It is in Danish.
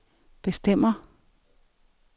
bestemmer